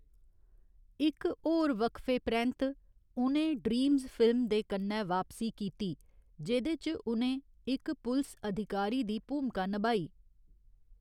इक होर वक्फे परैंत्त, उ'नें ड्रीम्स फिल्म दे कन्नै वापसी कीती, जेह्‌दे च उ'नें इक पुलस अधिकारी दी भूमका नभाई।